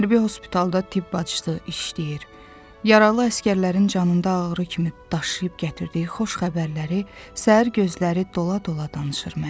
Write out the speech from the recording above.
Hərbi hospitalda tibb bacısı işləyir, yaralı əsgərlərin canında ağrı kimi daşıyıb gətirdiyi xoş xəbərləri səhər gözləri dola-dola danışır mənə.